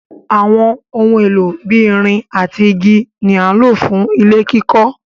Àwọn ohun èlò bí ìrìn àti igi ni à lọ fú ilẹ̀ kikó.